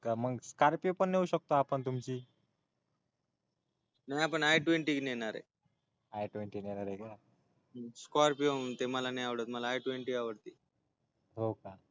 Scorpio पण नेऊ शकतो आपण तुमची नाही आपण आयट्वेन्टी नेणारय आय टेवन्टी नेणारय का स्कॉरपिओ मला नाही आवडत मला आयट्वेन्टी आवडती